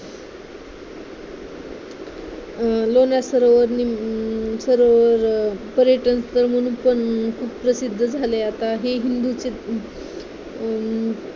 लोणार सरोवर सरोवर पर्यटन स्थळ म्हणून पण खूप प्रसिद्ध झालाय आता हे हिंदू अं